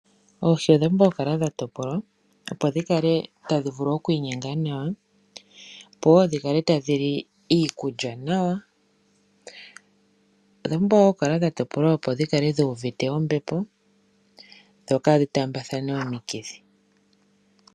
Oohi odha pumbwa okukala dha topolwa, opo dhi kale tadhi vulu oku inyenga nawa, opo wo dhi kale tadhi li iikulya nawa. Odha pumbwa wo okutopolwa, opo dhi kale dhu uvite ombepo dho kaadhi taambathane omikithi.